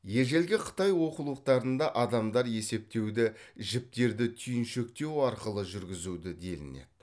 ежелгі қытай оқулықтарында адамдар есептеуді жіптерді түйіншектеу арқылы жүргізуді делінеді